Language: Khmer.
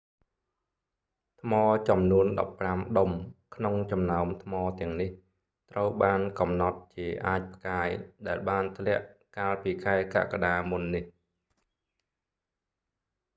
ថ្មចំនួនដប់ប្រាំដុំក្នុងចំណោមថ្មទាំងនេះ ត្រូវបានកំណត់ជាអាចផ្កាយដែលបានធ្លាក់កាលពីខែកក្កដាមុននេះ